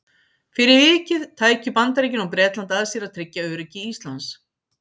fyrir vikið tækju bandaríkin og bretland að sér að tryggja öryggi íslands